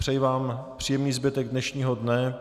Přeji vám příjemný zbytek dnešního dne.